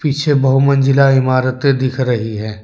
पीछे बहुमंजिला इमारते दिख रही है।